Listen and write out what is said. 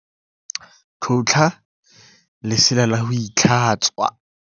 Tlhotla lesela la ho itlhatswa.